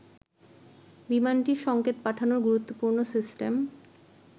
বিমানটির সংকেত পাঠানোর গুরুত্বপূর্ণ সিস্টেম